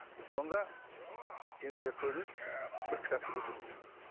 сонда енді жаңағы көрініс бір кітапты көрсетті